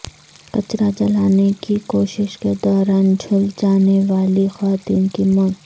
کچرہ جلانے کی کوشش کے دوران جھلس جانے والی خاتون کی موت